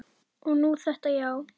Og nú þetta, já.